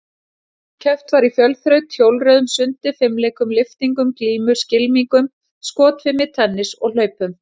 Keppt var í fjölþraut, hjólreiðum, sundi, fimleikum, lyftingum, glímu, skylmingum, skotfimi, tennis og hlaupum.